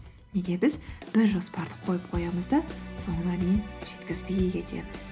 неге біз бір жоспарды қойып қоямыз да соңына дейін жеткізбей кетеміз